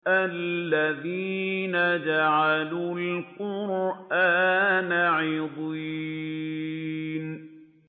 الَّذِينَ جَعَلُوا الْقُرْآنَ عِضِينَ